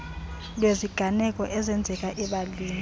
lweziganeko ezenzeka ebalini